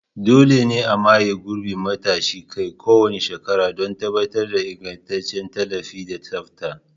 Dole ne a maye gurbin matashin kai kowane shekara don tabbatar da ingantaccen tallafi da tsafta.